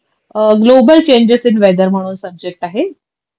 global changes in weather म्हणून subject आहे